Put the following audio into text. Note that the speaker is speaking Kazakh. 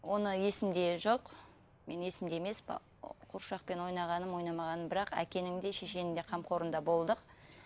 оны есімде жоқ менің есімде емес қуыршақпен ойнағаным ойнамағаным бірақ әкенің де шешенің де қамқорында болдық